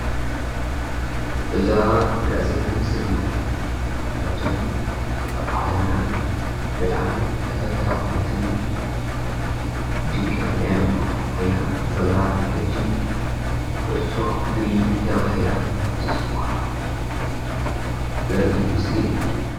እዛ እንሪኣ ዘለና ምስሊ ድማ ካብቶም ኣብ ዓለምና ብጣዕሚ ተፈታዉነትን ድምቀት ናይ ኣእምሮ ኮይና ዘላ ሕጂ ኩዕሶ እግሪ ተባሂላ ትፅዋዕ ዘርኢ ምስሊ እዩ።